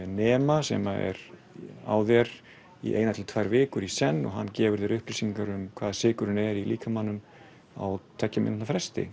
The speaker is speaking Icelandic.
nema sem er á þér í eina til tvær vikur í senn og hann gefur þér upplýsingar um sykurinn i líkamanum á tveggja mínútna fresti